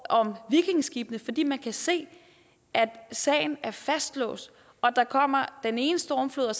om vikingeskibene fordi man kan se at sagen er fastlåst der kommer den ene stormflod